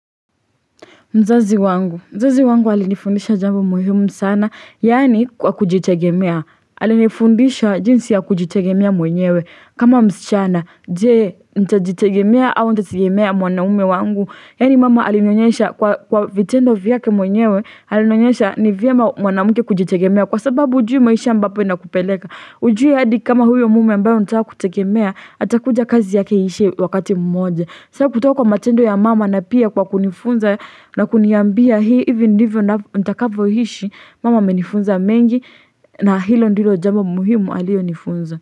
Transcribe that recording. Mzazi wangu, mzazi wangu alinifundisha jambo muhimu sana, yaani kwa kujitegemea, alinifundisha jinsi ya kujitegemea mwenyewe, kama msichana, je, nitajitegemea au nitaitegemea mwanaume wangu, yaani mama alinionyesha kwa vitendo vyake mwenyewe, alinionyesha ni vyema mwanamke kujitegemea, kwa sababu hujui maisha ambapo inakupeleka, hujui hadi kama huyo mume ambaye unataka kutegemea, atakuja kazi yake iishe wakati mmoja. So kutoa kwa matendo ya mama na pia kwa kunifunza na kuniambia hii, hivi ndivyo natakavyoishi, mama amenifunza mengi na hilo ndilo jambo muhimu aliyonifunza.